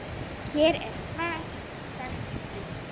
Hér er svart sagt hvítt.